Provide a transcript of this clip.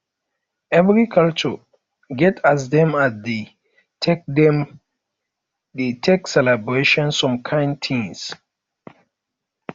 every culture get as dem dey take dem dey take celebrate some kind things